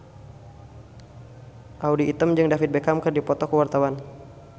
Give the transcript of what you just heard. Audy Item jeung David Beckham keur dipoto ku wartawan